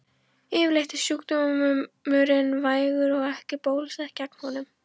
Yfirleitt er sjúkdómurinn vægur og ekki er bólusett gegn honum.